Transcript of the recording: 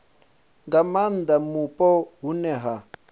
nga maanda mupo hune ha